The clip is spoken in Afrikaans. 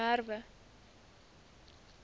merwe